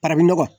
Bara bɛ nɔgɔ